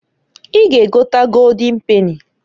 I ga egota Goldin peni.